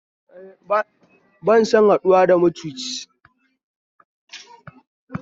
Ba san haɗuwa da macuci